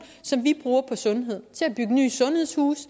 som vi bruger på sundhed til at nye sundhedshuse